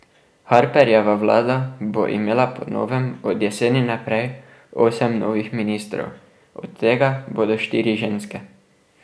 Harperjeva vlada bo imela po novem od jeseni naprej osem novih ministrov, od tega bodo štiri ženske.